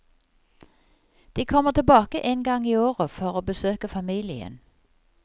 De kommer tilbake en gang i året for å besøke familien.